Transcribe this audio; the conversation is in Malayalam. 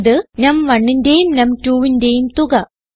ഇത് num1ന്റേയും num2ന്റേയും തുക